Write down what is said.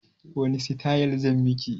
Wani sitayil zan miki?